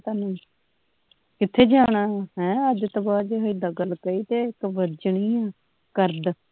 ਤੁਹਾਨੂੰ ਕਿੱਥੇ ਜਾਣਾ ਵਾਂ ਹੈਂ ਅੱਜ ਤੋਂ ਬਾਦ ਜੇ ਏਦਾਂ ਗੱਲ ਕਰੀਤੇ ਇਕ ਵੱਜਣੀਆਂ ਕਰਦ